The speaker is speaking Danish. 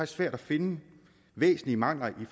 svært at finde væsentlige mangler i